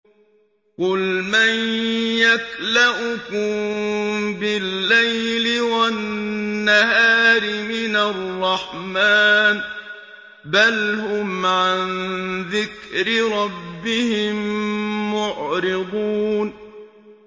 قُلْ مَن يَكْلَؤُكُم بِاللَّيْلِ وَالنَّهَارِ مِنَ الرَّحْمَٰنِ ۗ بَلْ هُمْ عَن ذِكْرِ رَبِّهِم مُّعْرِضُونَ